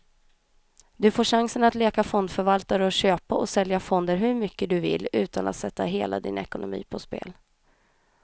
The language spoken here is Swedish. Du får chansen att leka fondförvaltare och köpa och sälja fonder hur mycket du vill, utan att sätta hela din ekonomi på spel.